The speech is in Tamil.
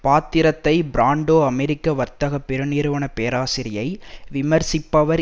பாத்திரத்தை பிராண்டோ அமெரிக்க வர்த்தக பெருநிறுவனப் பேராசையை விமர்சிப்பவர்